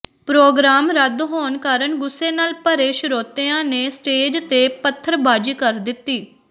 programme ਰੱਦ ਹੋਣ ਕਾਰਨ ਗੁੱਸੇ ਨਾਲ ਭਰੇ ਸ਼ਰੋਤਿਆਂ ਨੇ ਸਟੇਜ ਤੇ ਪੱਥਰਬਾਜ਼ੀ ਕਰ ਦਿੱਤੀ